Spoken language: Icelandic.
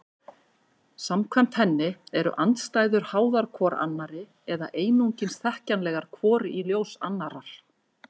Samkvæmt henni eru andstæður háðar hvor annarri eða einungis þekkjanlegar hvor í ljós annarrar.